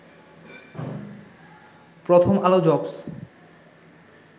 প্রথম আলো জবস